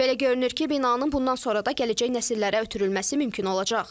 Belə görünür ki, binanın bundan sonra da gələcək nəsillərə ötürülməsi mümkün olacaq.